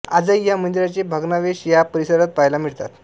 आजही ह्या मंदिरांचे भग्नावशेष ह्या परिसरात पहायला मिळतात